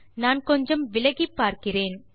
நான் கொஞ்சம் விலகிப்பார்க்கிறேன்